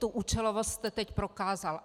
Tu účelovost jste teď prokázal.